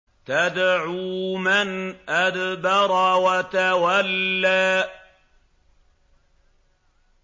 تَدْعُو مَنْ أَدْبَرَ وَتَوَلَّىٰ